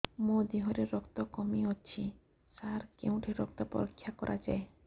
ମୋ ଦିହରେ ରକ୍ତ କମି ଅଛି ସାର କେଉଁଠି ରକ୍ତ ପରୀକ୍ଷା କରାଯାଏ